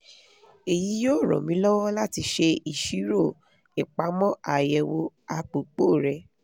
èyí yóò ran mi lọ́wọ́ láti ṣe ìṣirò ìpamọ́ ààyèwọ́ àpòpò rẹ